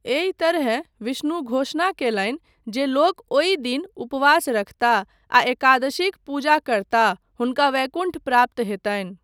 एहि तरहेँ विष्णु घोषणा कयलनि जे लोक ओहि दिन उपवास रखताह आ एकादशीक पूजा करताह, हुनका वैकुण्ठ प्राप्त हेतनि।